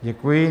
Děkuji.